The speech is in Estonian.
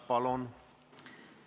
Palun!